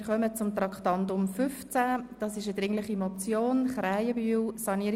Wir kommen zu Traktandum 15, einer dringlichen Motion von Grossrat Krähenbühl.